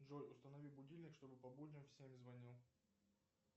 джой установи будильник чтобы по будням в семь звонил